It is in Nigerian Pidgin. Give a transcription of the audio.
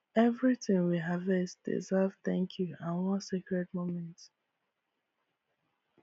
everything we harvest deserve thank you and one sacred moment